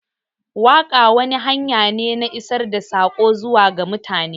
Waƙa wata hanya ce na isar da sako zuwa ga mutane.